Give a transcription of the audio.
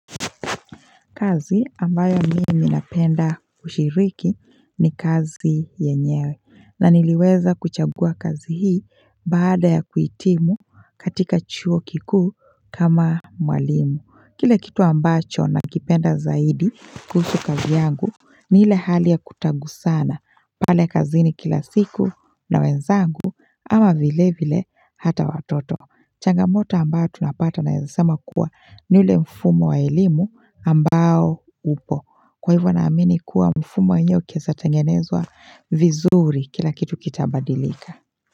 Kazi ambayo mimi napenda kushiriki ni kazi yenyewe na niliweza kuchagua kazi hii baada ya kuitimu katika chuo kikuu kama mwalimu kile kitu ambacho nakipenda zaidi kuhusu kazi yangu ni ile hali ya kutagusana pale kazini kila siku na wenzangu ama vile vile hata watoto Changamoto ambayo tunapata naeza sema kuwa ni ule mfumo wa elimu ambao upo Kwa hivyo naamini kuwa mfumo wenyewe ukieza tengenezwa vizuri kila kitu kitabadilika.